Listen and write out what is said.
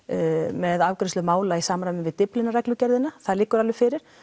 með afgreiðslu mála í samræmi við Dyflinnarreglugerðina það liggur alveg fyrir